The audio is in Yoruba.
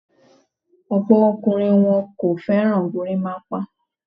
Ọ̀pọ̀ ọkùnrin ni wọn kò fẹ́ràn gorímápá.